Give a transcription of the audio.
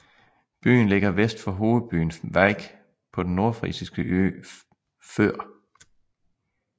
Byen ligger vest for hovedbyen Vyk på den nordfrisiske ø Før